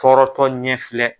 Tɔɔrɔtɔ ɲɛ filɛ.